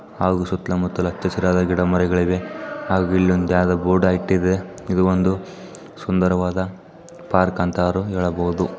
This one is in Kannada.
ಹಾಗು ಸುತ್ಲ ಮುತ್ತಲ ಹಚ್ಚ ಹಸಿರಾದ ಗಿಡಮರಗಳಿವೆ ಹಾಗು ಇಲ್ಲಿ ಒಂದು ಯಾವ್ದೋ ಬೋರ್ಡ್ ಹಾಕ್ತಾಯಿತೇ ಇದು ಒಂದು ಸುಂದರವಾದ ಪಾರ್ಕ್ ಅಂತರೂ ಹೇಳಬಹುದು --